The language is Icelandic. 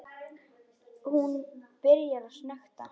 Hún byrjar að snökta.